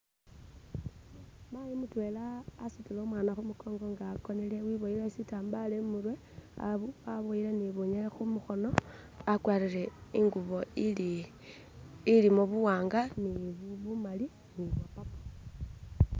mayi mutwela asutile umwana khumukongo nga akonele wiboyele shirambala imurwe abo aboyele ni bunyele khumukhono akwarile ingubo ili ilimo buwanga ni bumali ni bwapapo